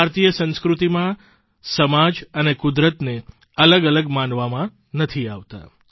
ભારતીય સંસ્કૃતિમાં સમાજ અને કુદરતને અલગ અલગ માનવામાં નથી આવતા